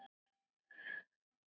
Ég á þetta hjól!